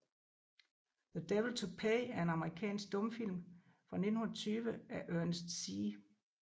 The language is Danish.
The Devil to Pay er en amerikansk stumfilm fra 1920 af Ernest C